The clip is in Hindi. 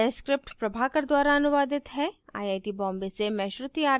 यह स्क्रिप्ट प्रभाकर द्वारा अनुवादित है आई आई टी बॉम्बे से मैं श्रुति आर्य अब आपसे विदा लेती हूँ